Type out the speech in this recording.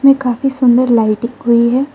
ये काफी सुन्दर लाइटिंग हुई है।